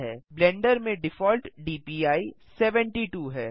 blender में default DPI 72 है